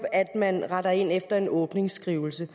at man retter ind efter en åbningsskrivelse